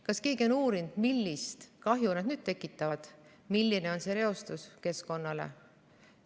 Kas keegi on uurinud, millist kahju nad tekitavad, milline on keskkonnareostus?